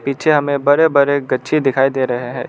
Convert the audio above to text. पीछे हमे बड़े बड़े गच्छे दिखाई दे रहे हैं।